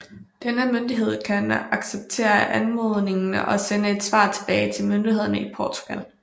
Denne myndighed kan acceptere anmodningen og sende et svar tilbage til myndigheden i Portugal